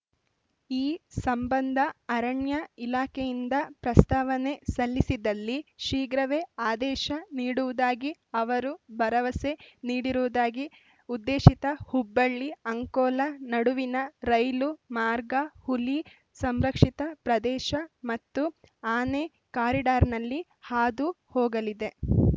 ಈ ಸಂಬಂಧ ಅರಣ್ಯ ಇಲಾಖೆಯಿಂದ ಪ್ರಸ್ತಾವನೆ ಸಲ್ಲಿಸಿದಲ್ಲಿ ಶೀಘ್ರವೇ ಆದೇಶ ನೀಡುವುದಾಗಿ ಅವರು ಭರವಸೆ ನೀಡಿರುವುದಾಗಿ ಉದ್ದೇಶಿತ ಹುಬ್ಬಳ್ಳಿ ಅಂಕೋಲ ನಡುವಿನ ರೈಲು ಮಾರ್ಗ ಹುಲಿ ಸಂರಕ್ಷಿತ ಪ್ರದೇಶ ಮತ್ತು ಆನೆ ಕಾರಿಡಾರ್‌ನಲ್ಲಿ ಹಾದು ಹೋಗಲಿದೆ